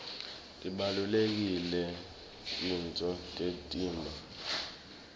tibalulekile titfo temtimba